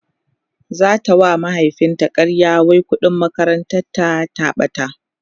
zata wa mahaifin ta ƙarya wai ƙuɗin makarantar ta ta ɓata